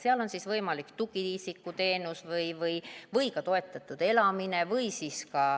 Seal on siis võimalik tugiisikuteenus või ka toetatud elamine.